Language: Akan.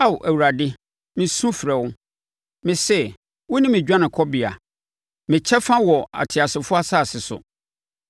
Ao Awurade, mesu mefrɛ wo; mese, “Wone me dwanekɔbea, me kyɛfa wɔ ateasefoɔ asase so.”